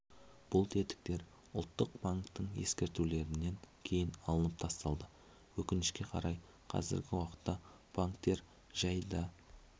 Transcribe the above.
бұл тетіктер ұлттық банктің ескертулерінен кейін алынып тасталды өкінішке қарай қазіргі уақытта банктер жай да